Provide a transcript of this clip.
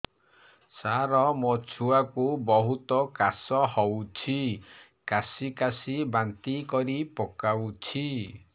ସାର ମୋ ଛୁଆ କୁ ବହୁତ କାଶ ହଉଛି କାସି କାସି ବାନ୍ତି କରି ପକାଉଛି